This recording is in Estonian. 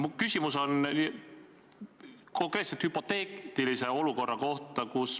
Minu küsimus on hüpoteetilise olukorra kohta.